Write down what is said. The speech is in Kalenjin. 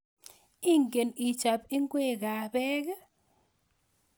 Iken ichob inkwek kab beek i?